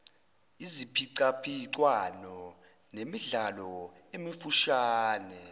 iziphicaphicwano nemidlalo emifushane